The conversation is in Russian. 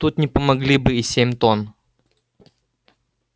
тут не помогли бы и семь тонн